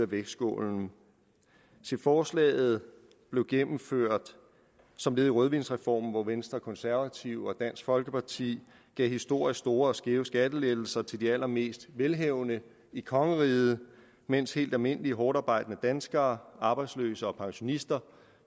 vægtskål se forslaget blev gennemført som led i rødvinsreformen hvor venstre de konservative og dansk folkeparti gav historisk store og skæve skattelettelser til de allermest velhavende i kongeriget mens helt almindelige hårdtarbejdende danskere arbejdsløse og pensionister